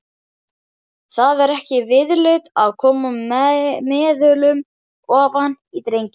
Það er ekki viðlit að koma meðulum ofan í drenginn.